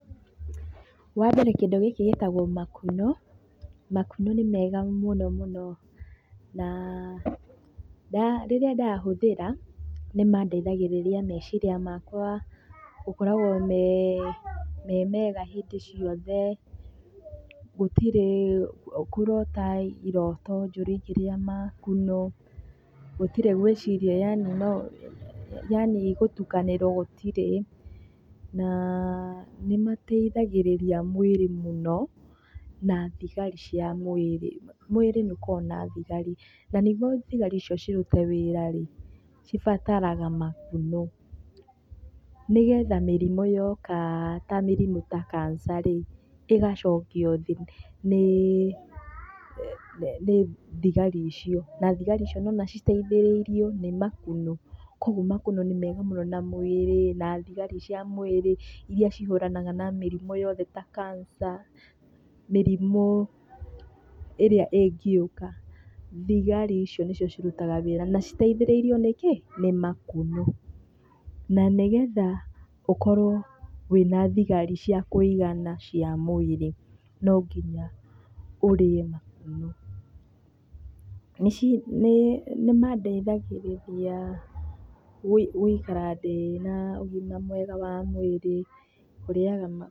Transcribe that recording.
Wambere kĩndũ gĩkĩ gĩtagwo makunũ. Makunũ nĩ mega mũno mũno na na rĩrĩa ndahũthĩra nĩmandeithagĩrĩria meciria makwa gũkoragwo me mega hĩndĩ ciothe. Gũtirĩ kũrota iroto njũru ingĩrĩa makũnu, gũtiri gwĩciria yaani no yaani gũtukanĩrwo gũtirĩ na nimateithagĩrĩria mwĩrĩ mũno na thigari cia mwĩrĩ. Mwĩrĩ nĩ ũkoragwo na thigari, na nĩguo thigari icio cirute wĩra rĩ, cibataraga makunũ nĩgetha mĩrimũ yoka ta mĩrimũ ta cancer rĩ, ĩgacokio thĩ nĩ thigari icio. Na thigari icio nĩ ũrona citeithĩrĩirio nĩ makunũ. Kwoguo makunũ nĩ mega mũno na mwĩrĩ na thigari cia mwĩrĩ irĩa cihũranaga na mĩrimũ yothe ta cancer mĩrimũ ĩrĩa ĩngĩũka thigari icio nĩcio cirutaga wĩra na citeithĩrĩirio nĩkĩ nĩ makunũ. Na nĩgetha ũkorwo wĩna thigari cia kũigana cia mwĩrĩ no nginya ũrĩe makunũ. Nĩ mandeithagĩrĩria gũikara ndĩna ũgima mwega wa mwĩrĩ kũrĩaga...